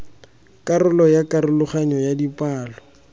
karolo ya karologanyo ya dipalo